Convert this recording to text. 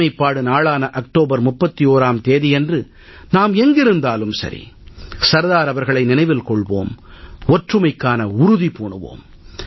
ஒருமைப்பாடு நாளான அக்டோபர் 31ஆம் தேதியன்று நாம் எங்கிருந்தாலும் சர்தார் அவர்களை நினைவில் கொள்வோம் ஒற்றுமைக்கான உறுதி பூணுவோம்